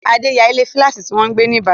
Adé n yá ilé fílátì tó wọ́n gbé ní ìbàdàn